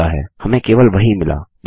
मिलता है हमें केवल वही मिला